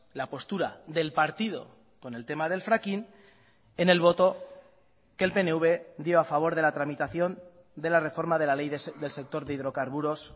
la postura del partido con el tema del fracking en el voto que el pnv dio a favor de la tramitación de la reforma de la ley del sector de hidrocarburos